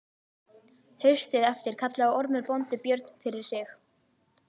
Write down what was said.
Haustið eftir kallaði Ormur bóndi Björn fyrir sig.